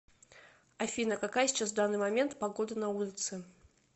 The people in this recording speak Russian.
афина какая сейчас в данный момент погода на улице